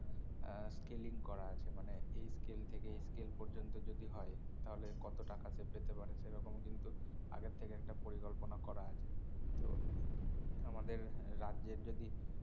আহ scaling করা আছে মানে এই scale থেকে এই scale পর্যন্ত যদি হয় তাহলে কত টাকা সে পেতে পারে সে রকম কিন্তু আগের থেকে একটা পরিকল্পনা করা আছে তো আমাদের এর রাজ্যের যদি